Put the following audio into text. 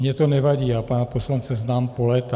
Mně to nevadí, já pana poslance znám po léta.